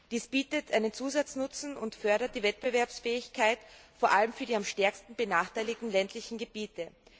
Dies bietet einen Zusatznutzen und fördert die Wettbewerbsfähigkeit, vor allem für die am stärksten benachteiligten ländlichen Gebiete.